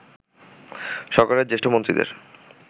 সরকারের জ্যেষ্ঠ মন্ত্রীদের